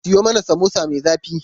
Siyo mana samosa me zafi.